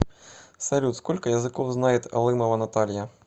салют сколько языков знает алымова наталья